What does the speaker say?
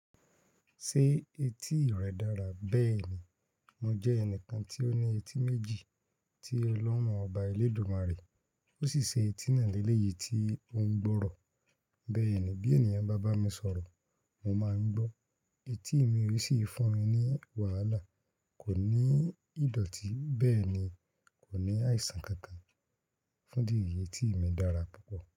Ṣé etí rẹ dára? Bẹ́ẹ̀ni, mo jẹ́ ẹnìkan tí ó ní etí méjì tí Ọlọ́run Ọba Elédùmarè, ó sì ṣe etí náà ní eléyìí tí ó ń gbọ́rọ̀. Bẹ́ẹ̀ni, bí ènìyàn bá bá mi sọ̀rọ̀, mo máa ń gbọ́, etí mi ò sì fún mi ní wàhálà. Kò ní ìdọ̀tí, bẹ́ẹ̀ ni, kò ní àìsàn kankan. Fún ìdí èyí, etí mi dára púpọ̀.